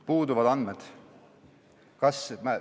Puuduvad andmed.